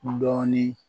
Dɔɔnin